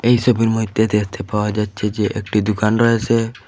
এইসবের মধ্যে দেখতে পাওয়া যাচ্ছে যে একটি দুকান রয়েছে।